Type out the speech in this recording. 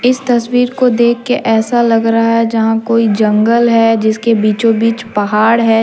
इस तस्वीर को देख के ऐसा लग रहा है यहां कोई जंगल है जिसके बीचो बीच पहाड़ है।